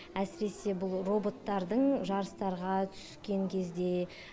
әсіресе бұл роботтардың жарыстарға түскен кезде